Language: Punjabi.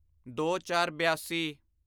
ਦੋਚਾਰਬਿਆਸੀ